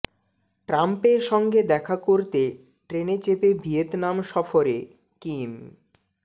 ট্রাম্পের সঙ্গে দেখা করতে ট্রেনে চেপে ভিয়েতনাম সফরে কিম